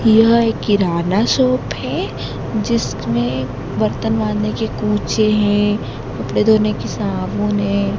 यह एक किराना शॉप है जिसमें बर्तन माजने के कूचे हैं कपड़े धोने के साबुन है।